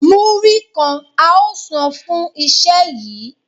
Múrí kan a óò san fún iṣẹ́ yìí